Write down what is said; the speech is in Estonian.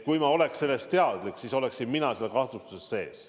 Kui ma oleks sellest teadlik olnud, siis oleksin mina ka selles kahtlustuses sees.